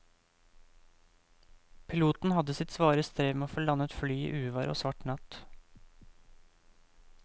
Piloten hadde sitt svare strev med å få landet flyet i uvær og svart natt.